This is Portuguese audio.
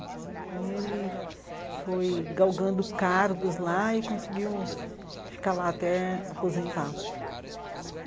E ele foi galgando cargos lá e conseguiu ficar lá até aposentar.